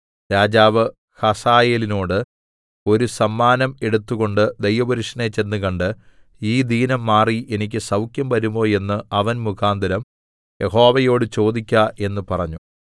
രാജാവ് ഹസായേലിനോട് ഒരു സമ്മാനം എടുത്തുകൊണ്ട് ദൈവപുരുഷനെ ചെന്നുകണ്ട് ഈ ദീനം മാറി എനിക്ക് സൗഖ്യം വരുമോ എന്ന് അവൻ മുഖാന്തരം യഹോവയോട് ചോദിക്ക എന്ന് പറഞ്ഞു